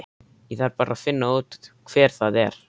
Ég þarf bara að finna út hver það er.